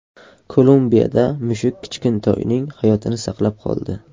Kolumbiyada mushuk kichkintoyning hayotini saqlab qoldi .